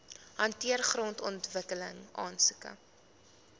hanteer grondontwikkeling aansoeke